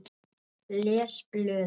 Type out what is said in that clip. Les blöðin.